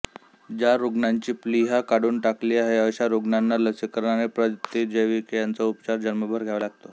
ज्यारुग्णांची प्लीहा काढून टाकली आहे अशा रुग्णाना लसीकरण आणि प्रतिजैविके यांचा उपचार जन्मभर घ्यावा लागतो